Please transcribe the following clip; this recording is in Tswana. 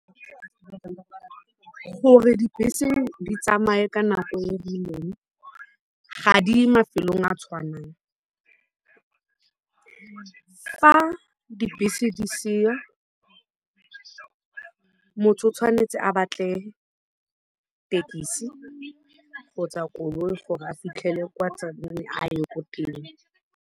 Gore dibese di tsamaye ka nako e rileng, ga di ye mafelong a tshwanang. Fa dibese di seyo, motho o tshwanetse a batle thekisi kgotsa koloi gore a fitlhele kwa a ye ko teng.